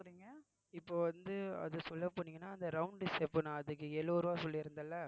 இப்போ வந்து அது சொல்ல போனீங்கன்னா அந்த round அதுக்கு எழுபது ரூபாய் சொல்லியிருந்தேன்ல